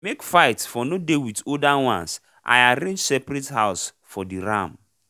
make fight for nor dey with older ones i arrange separate house for the ram